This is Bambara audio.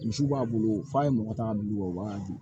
Misiw b'a bolo f'a ye mɔgɔ ta ka bila u bolo u b'a di